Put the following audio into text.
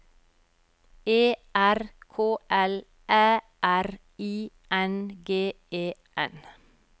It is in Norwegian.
E R K L Æ R I N G E N